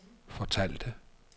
fortalte